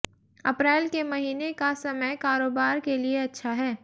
अप्रैल के महीने का समय कारोबार के लिए अच्छा है